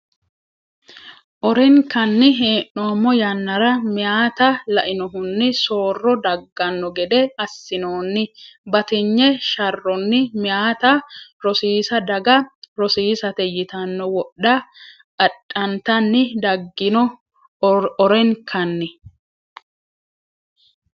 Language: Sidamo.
orenkanni hee’noommo yannara meyaata lainohunni soorro dagganno gede assinoonni batinye sharronni meyaata rosiisa daga rosiisate yitanno wodha adhantanni daggino orenkanni.